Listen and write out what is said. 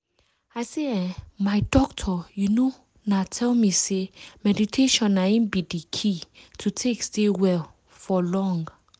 i say eeh my doctor you know na tell me say meditation na in be the key to take stay well for long